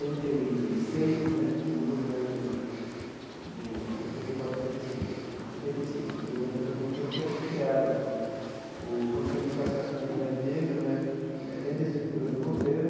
Oitenta e seis né, no governo do oitenta e quatro oitenta e seis não oitenta e seis no governo Franco Montoro, que é criado o Conselho de Participação da Comunidade Negra né, dentro da estrutura do governo,